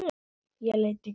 Ég leit í kringum mig.